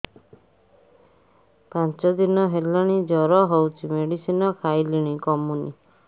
ପାଞ୍ଚ ଦିନ ହେଲାଣି ଜର ହଉଚି ମେଡିସିନ ଖାଇଲିଣି କମୁନି